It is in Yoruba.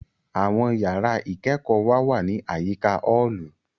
Àwọn yàrá ìkẹ́kọ̀ọ́ wa wá ní àyíká ọ́ọ̀lù